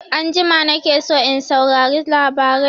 Anjima na ke son in saurari labarai